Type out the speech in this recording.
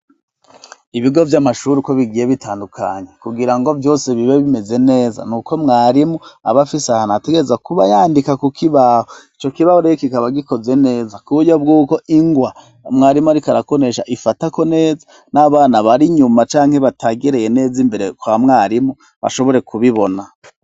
Ibigo vy'amashuri uko bigiye bitandukanye kugira ngo vyose bibe bimeze neza, nuko mwarimu aba afise isaha ategereza kuba yandika ku kibaho. Ico kibaho kikaba gikoze neza ku buryo bw'uko ingwa mwarimu ariko arakonesha ifatako neza, n'abana bari nyuma canke bategereye neza imbere kwa mwarimu bashobore kubibona.